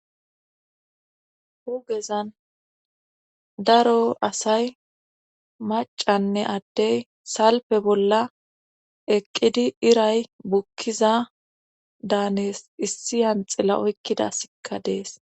hugezan daro asay macanne addey salpe bolla eqqidi iray bukkiza daanes issiyanxilla oykkidasikka dees